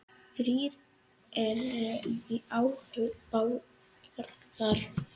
Þrír eru í áhöfn Bárðar.